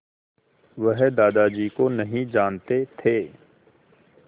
वह दादाजी को नहीं जानते थे